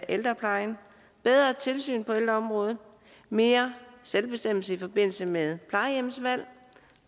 ældreplejen et bedre tilsyn på ældreområdet mere selvbestemmelse i forbindelse med plejehjemsvalg en